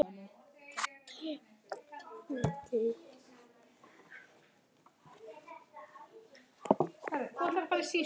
Þetta er mitt líf.